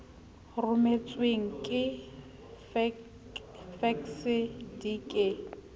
rometsweng ka fekse di ke